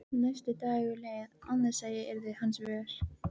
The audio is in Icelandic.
Næsti dagur leið án þess að ég yrði hans vör.